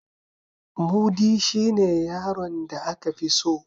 Mudi shine yaron da aka fi so.